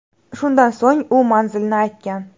Shundan so‘ng u manzilni aytgan.